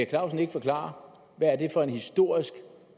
clausen ikke forklare hvad det er for en historisk